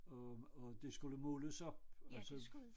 Øh og det skulle måles op og så